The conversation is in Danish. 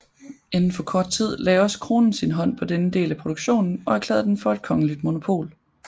Inden for kort tid lagde også kronen sin hånd på denne del af produktionen og erklærede den for kongeligt monopol